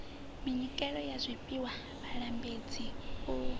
minyikelo ya zwifhiwa vhalambedzi u